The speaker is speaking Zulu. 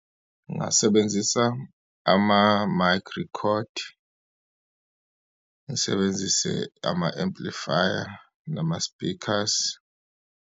Ngingasebenzisa ama-mic record, ngisebenzise ama-amplifier, nama-speakers.